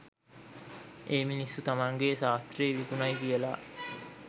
ඒ මිනිස්සු තමන්ගෙ සාස්ත්‍රෙ විකුණයි කියල